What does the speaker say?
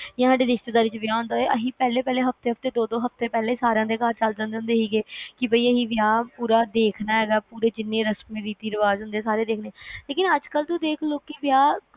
ਯਾ ਸਾਡੇ ਰਿਸ਼ਤੇਦਾਰਾਂ ਚ ਵਿਆਹ ਹੁੰਦਾ ਸੀ ਪਹਿਲੇ ਪਹਿਲੇ ਹਫਤੇ ਦੋ ਦੋ ਹਫਤੇ ਪਹਿਲੇ ਸਾਰੀਆਂ ਦੇ ਚਲੇ ਜਾਂਦੇ ਸੀਗੇ ਵੀ ਅਸੀਂ ਵਿਆਹ ਪੂਰਾ ਦੇਖਣਾ, ਰਸਮ ਸਾਰੀਆਂ ਵੇਖਣੀਆਂ